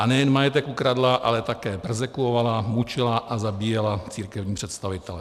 A nejen majetek ukradla, ale také perzekvovala, mučila a zabíjela církevní představitele.